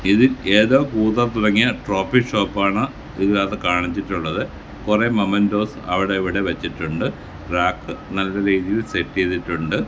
ഇതിൽ ഏതോ പൂതം തുടങ്ങിയ ട്രോഫി ഷോപാണ് ഇതിനാത്തുകാണിച്ചിട്ടുള്ളത് കുറെ മോമൻ്റോസ് അവിടെവിട വച്ചിട്ടുണ്ട് റാപ് നല്ല രീതിയിൽ സെറ്റ് ചെയ്തിട്ടുണ്ട്.